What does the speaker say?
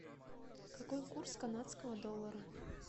какой курс канадского доллара